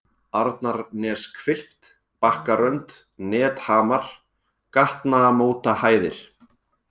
Arnarneshvilft, Bakkarönd, Nethamar, Gatnamótahæðir